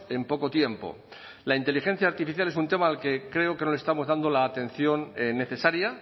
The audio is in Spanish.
en poco tiempo la inteligencia artificial es un tema al que creo que no le estamos dando la atención necesaria